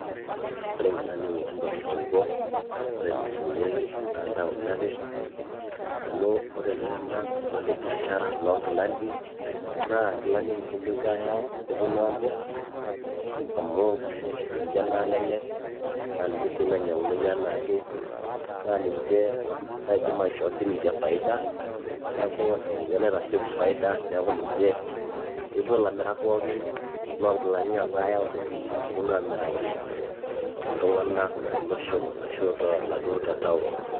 ore inkilani emutumba tosupuko ore eninyiang'unyieki naa intaoni ake amu ore iltung'anak kulo le biashara loo nkilanik naa inkilani emutumba epuo ayau neponu amirr amu ninche nalelek naa ninche sii nainyiang'unoyu enaake naa ninche naidim aishoo sininche faida neeku ninye naitasieku faida neeku ninche epuo ilamirak loonkilani pooki apuo ayau nepou aamiraki iltung'anak tolosho ashu toladuo te town.